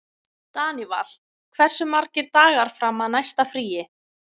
Daníval, hversu margir dagar fram að næsta fríi?